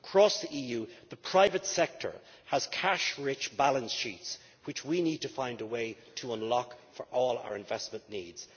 Across the EU the private sector has cash rich balance sheets which we need to find a way to unlock for all our investment needs.